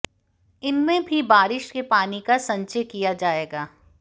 इनमें भी बारिश के पानी का संचय किया जाएगा